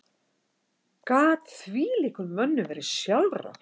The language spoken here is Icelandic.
Gat þvílíkum mönnum verið sjálfrátt?